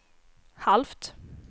halvt